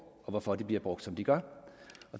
og hvorfor de bliver brugt som de gør